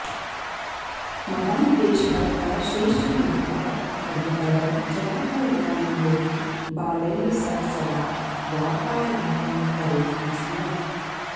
महान् देशभक्तः श्रेष्ठलेखकः पण्डितः जवहारलालनेहरुः बालैः सह सदा वार्तालापं करोति स्म